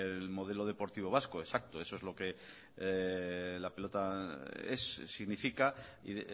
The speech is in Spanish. el modelo deportivo vasco exacto eso es lo que la pelota es significa y